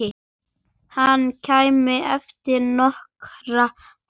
Hann kæmi eftir nokkra daga.